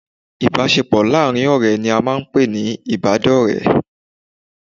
Ìbásepọ̀ láàrin ọ̀rẹ́ ni a n pè ní ìbádọ̀rẹ́